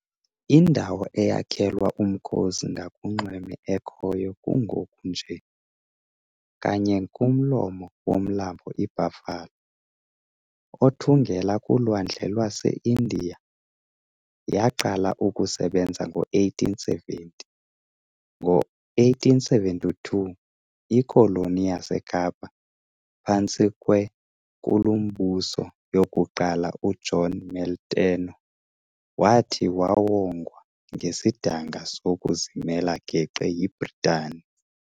Indawo eyakhelwa umkhosi ngakunxweme ekhoyo kungoku nje, kanye kumlomo womlambo iBuffalo, othungela kulwandle lwaseIndiya, yaqala ukusebenza ngo-1870. Ngo-1872, ikoloni yaseKapa, phantsi kweNkulumbusoyokuqala uJohn Molteno, wathi wawongwa ngesidanga sokuzimela geqe yiBritani.